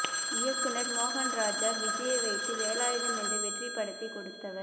இயக்குநர் மோகன் ராஜா விஜய்யை வைத்து வேலாயுதம் என்ற வெற்றிப் படத்தை கொடுத்தவர்